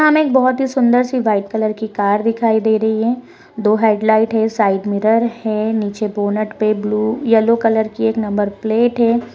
एक बहुत सूंदर सी व्हाइट कलर की कार दिखाई दे रही है दो हेडलाइट है साइड मिरर है निचे बोनेट पे येलो कलर की एक नंबर प्लेट है।